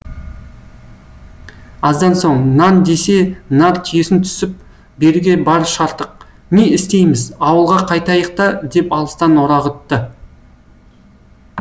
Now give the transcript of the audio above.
аздан соң нан десе нар түйесін түсіп беруге бар шартық не істейміз ауылға қайтайық та деп алыстан орағытты